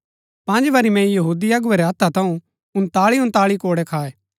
पँज बरी मैंई यहूदी अगुवै रै हत्था थऊँ उन्ताळी उन्ताळी कोड़ै खाए